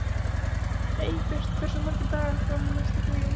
Eybjört, hversu margir dagar fram að næsta fríi?